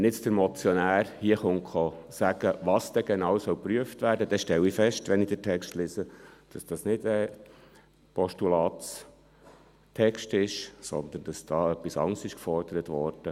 Wenn der Motionär hier sagt, was genau geprüft werden soll, stelle ich fest – wenn ich den Text lese –, dass dies nicht der Postulatstext ist, sondern etwas anderes gefordert wurde.